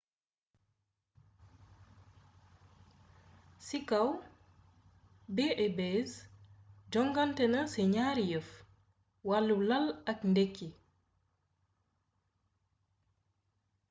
ci kaw b&bs jonganténa ci gnaari yeef: wallu lal ak ndekki